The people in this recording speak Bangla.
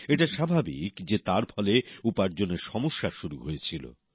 এটা স্বাভাবিক যে তার ফলে উপার্জনের সমস্যা শুরু হয়েছিল